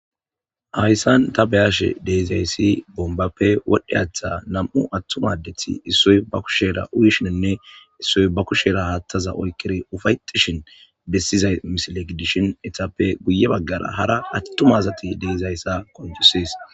Hayssan ta beyashe deezayssi bombappe wodhdhe aththa nam7'u attumaddeth issoy ba kushera uyishininne issoy ba kushera haattaza oykkiri ufaytishin bessizay misilegidishin etappe guye baggara hara attumazati deezayssa konjusees.